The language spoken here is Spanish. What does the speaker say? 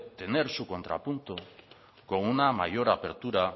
tener su contrapunto con una mayor apertura